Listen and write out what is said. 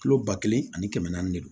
Kilo ba kelen ani kɛmɛ naani de don